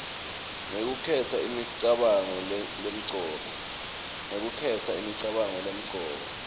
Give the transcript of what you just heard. ngekukhetsa imicabango lemcoka